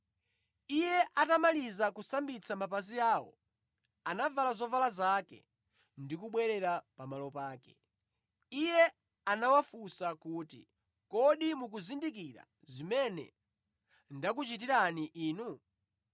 Iye atamaliza kusambitsa mapazi awo anavala zovala zake ndi kubwerera pamalo pake. Iye anawafunsa kuti, “Kodi mukuzindikira zimene ndakuchitirani inu?